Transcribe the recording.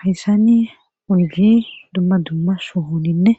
hayssani oydi dumma dumma sohoninne